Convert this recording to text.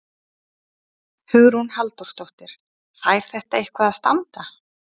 Hugrún Halldórsdóttir: Fær þetta eitthvað að standa?